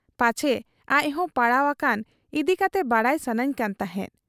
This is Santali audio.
ᱯᱟᱪᱷᱮ ᱟᱡᱦᱚᱸᱭ ᱯᱟᱲᱟᱣ ᱟᱠᱟᱱ ᱤᱫᱤ ᱠᱟᱛᱮ ᱵᱟᱰᱟᱭ ᱥᱟᱹᱱᱟᱹᱧ ᱠᱟᱱ ᱛᱟᱦᱮᱸᱫ ᱾